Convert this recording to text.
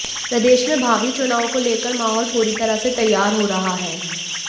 प्रदेश में भावी चुनाव को लेकर माहौल पूरी तरह से तैयार हो रहा है